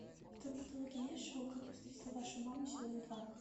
в твоем каталоге есть шоу как я встретил вашу маму сезон два